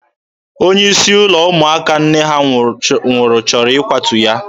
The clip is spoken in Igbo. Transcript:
Onye isi ụlọ ụmụaka nne ha nwụrụ chọrọ ịkwatu ya.